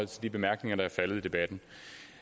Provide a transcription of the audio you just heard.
de bemærkninger der er faldet under debatten